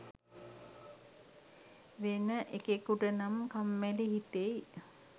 වෙන එකෙකුටනම් කම්මැලි හිතෙයි